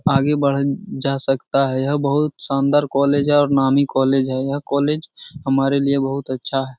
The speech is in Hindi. आगे बढ़त जा सकता है यह बहुत शानदार कॉलेज है और नामी कॉलेज है। यह कॉलेज हमारे लिये बहुत अच्छा है।